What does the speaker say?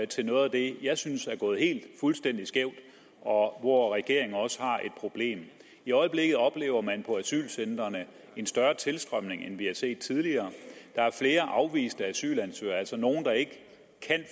til noget af det jeg synes er gået helt fuldstændig skævt og hvor regeringen også har et problem i øjeblikket oplever man på asylcentrene en større tilstrømning end vi har set tidligere der er flere afviste asylansøgere altså nogle der ikke kan